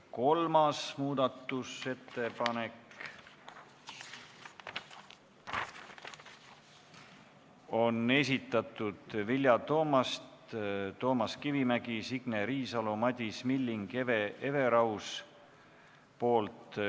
Kolmas muudatusettepanek on Vilja Toomasti, Toomas Kivimägi, Signe Riisalo, Madis Millingu ja Hele Everausi esitatud.